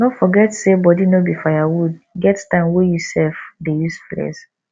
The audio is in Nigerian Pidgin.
no forget sey body no be firewood get time wey you sef dey use flex